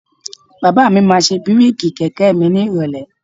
Bàbá mi máa ṣe bíréèkì kẹ̀kẹ́ mi ni ìrọ̀lẹ́